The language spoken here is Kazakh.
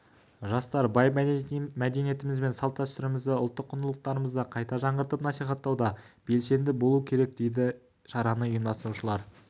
жастар бай мәдениетіміз бен салт-дәстүрімізді ұлттық құндылықтарымызды қайта жаңғыртып насихаттауда белсенді болу керек дейді шараны ұйымдастырушылар